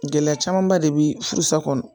Gɛlɛya camanba de be furu sa kɔnɔ